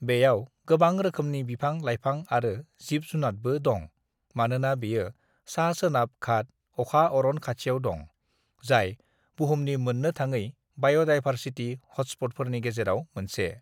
"बेयाव गोबां रोखोमनि बिफां-लाइफां आरो जिब-जुनादबो दं मानोना बेयो सा-सोनाब घाट अखा अरन खाथियाव दं, जाय बुहुमनि मोन्नो थाङै बाय'दाइभारसिटि हटस्प'टफोरनि गेजेराव मोनसे।"